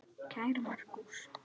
Kæri Markús.